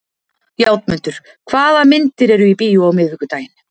Játmundur, hvaða myndir eru í bíó á miðvikudaginn?